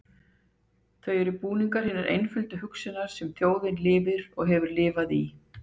Þau eru búningur hinnar einföldu hugsunar, sem þjóðin lifir og hefur lifað í.